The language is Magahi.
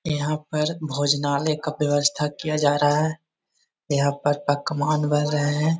यहाँ पर भोजनालय का व्यवस्था किया जा रहा है | यहाँ पर पकवान बन रहे हैं |